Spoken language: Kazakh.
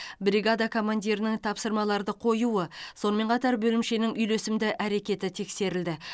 бригада командирінің тапсырмаларды қоюы сонымен қатар бөлімшенің үйлесімді әрекеті тексерілді